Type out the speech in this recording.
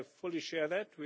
I fully share that.